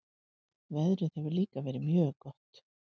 Veðrið hefur líka verið mjög gott